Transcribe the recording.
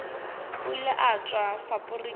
o ile a tšwa faporiking